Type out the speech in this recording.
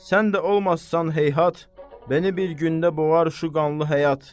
Sən də olmasan, heyhat, məni bir gündə boğar şu qanlı həyat.